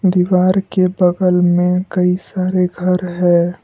दीवार के बगल में कई सारे घर है।